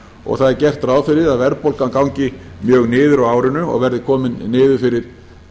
og það er gert ráð fyrir að verðbólgan gangi mjög niður á árinu og verði komin niður fyrir